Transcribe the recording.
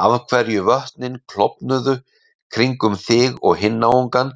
Af hverju vötnin klofnuðu kringum þig og hinn náungann